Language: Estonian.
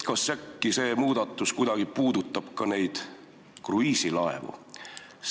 Kas see muudatus puudutab kuidagi ka kruiisilaevu?